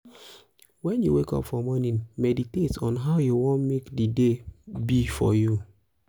when you wake up for morning meditate on how you won make di day be for you